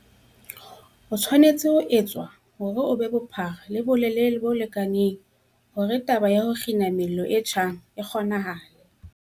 O tshwanetse ho etswa hore o be bophara le bolelele bo lekaneng hore taba ya ho kgina mello e tjhang e kgonahale.